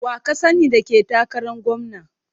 Wa ka sani da ke takaran gwamna?